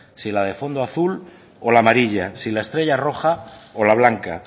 si la de fondo azul o la amarilla si la estrella roja o la blanca